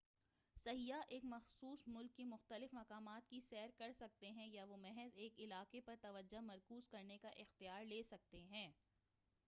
سیاح ایک مخصوص ملک کے مختلف مقامات کی سیر کر سکتے ہیں یا وہ محض ایک علاقے پر توجہ مرکوز کرنے کا اختیار لے سکتے ہیں